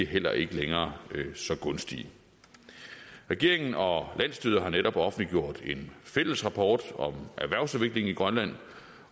heller ikke længere så gunstige regeringen og landsstyret har netop offentliggjort en fælles rapport om erhvervsudviklingen i grønland